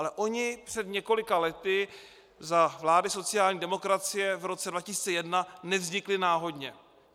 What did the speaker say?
Ale oni před několika lety, za vlády sociální demokracie v roce 2001, nevznikli náhodně.